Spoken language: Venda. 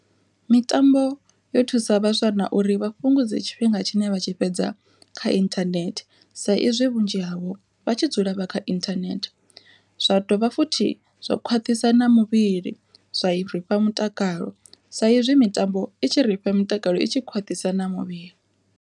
Mitambo yo thusa vhaswa na uri vha fhungudze tshifhinga tshine vha tshi fhedza kha inthanethe, sa izwi vhunzhi havho vha tshi dzula vha kha inthanethe zwa dovha futhi zwa khwaṱhisa na muvhili zwa rifha mutakalo, sa izwi mitambo i tshi ri fha mutakalo i tshi khwaṱhisa na muvhili.